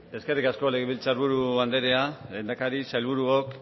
eskerrik asko legebiltzar buru anderea lehendakari sailburuok